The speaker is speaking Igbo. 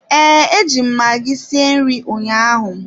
Ee, eji m magi sie nri ụnyaahụ.